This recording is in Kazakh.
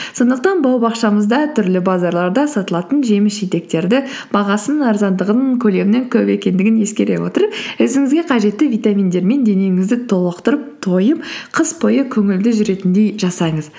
сондықтан бау бақшамызда түрлі базарларда сатылатын жеміс жидектерді бағасының арзандығын көлемінің көп екендігін ескере отырып өзіңізге қажетті витаминдермен денеңізді толықтырып тойып қыс бойы көңілді жүретіндей жасаңыз